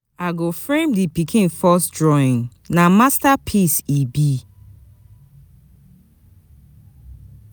I go frame di pikin first drawing, na masterpiece e be.